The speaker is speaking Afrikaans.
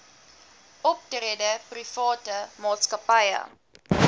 optrede private maatskappye